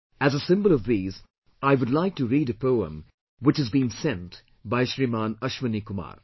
As a symbol of these, I would like to read a poem which has been sent by Shriman Ashwani Kumar